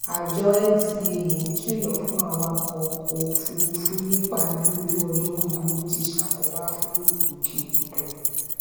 àjọ ncaa ń kìlọ fún awakọ ọkọ òfurufú nípa bí ojú ọjọ búburú ti ṣàkóbá fún ìgbòkègbodò